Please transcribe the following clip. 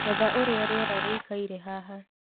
etha uria rĩera rĩĩkaĩre haha